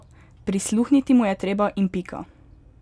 Prisluhniti mu je treba in pika.